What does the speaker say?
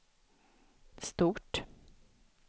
stort